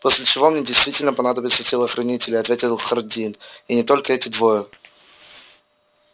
после чего мне действительно понадобятся телохранители ответил хардин и не только эти двое